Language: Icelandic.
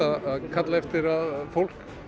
kalla eftir því að fólk